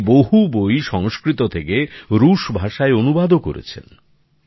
তিনি বহু বই সংস্কৃত থেকে রুশ ভাষায় অনুবাদও করেছেন